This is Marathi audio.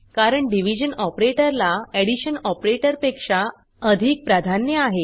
कारण डिव्हिजन ऑपरेटर ला एडिशन ऑपरेटर पेक्षा अधिक प्राधान्य आहे